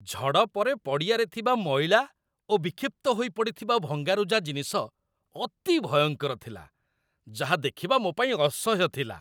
ଝଡ଼ ପରେ ପଡ଼ିଆରେ ଥିବା ମଇଳା ଓ ବିକ୍ଷିପ୍ତ ହୋଇ ପଡ଼ିଥିବା ଭଙ୍ଗାରୁଜା ଜିନିଷ ଅତି ଭୟଙ୍କର ଥିଲା, ଯାହା ଦେଖିବା ମୋ ପାଇଁ ଅସହ୍ୟ ଥିଲା।